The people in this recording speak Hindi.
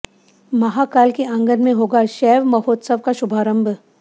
महाकाल के आंगन में होगा शैव महोत्सव का शुभारंभ